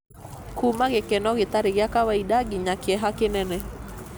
kuuma gĩkeno gĩtarĩ gĩa kawaida nginya kĩeha kĩnene.